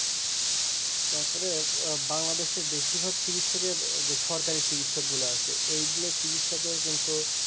তারপরে বাংলাদেশের বেশির ভাগ চিকিৎসকের যে সরকারি চিকিৎসক গুলা আছে এইগুলা চিকিৎসকের কিন্তু